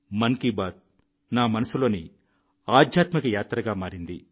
మన్ కీ బాత్ నా మనసులోని ఆధ్యాత్మిక యాత్రగా మారింది